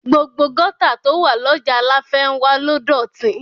Gbogbo gọ́tà tó wà lọ́jà láfénwá ló dọ̀tí